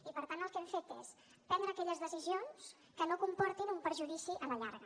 i per tant el que hem fet és prendre aquelles decisions que no comportin un perjudici a la llarga